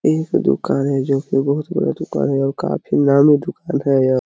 एह एक दुकान है जोकि बहोत बड़ा दुकान है और काफ़ी नामी दुकान है यहाँ--